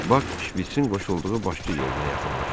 Bak şpiçin qoşulduğu başçı yerinə yaxınlaşdı.